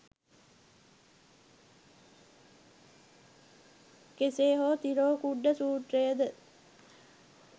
කෙසේ හෝ තිරෝකුඩ්ඩ සූත්‍රය ද